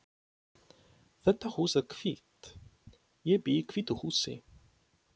Þetta hús er hvítt. Ég bý í hvítu húsi.